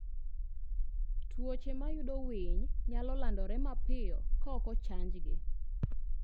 Tuoche mayudo winy nyalo landore mapiyo ka ok ochanjgi.